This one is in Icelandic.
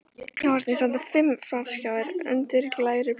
Í horni standa fimm flatskjáir undir glæru plasti.